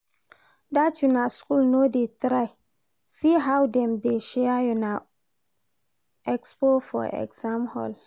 That una school no dey try, see how dem dey share una expo for exam hall